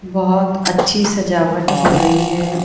बहोत अच्छी सजावट हो रही है।